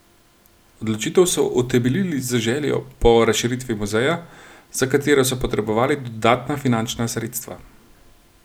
Odločitev so utemeljili z željo po razširitvi muzeja, za katero so potrebovali dodatna finančna sredstva.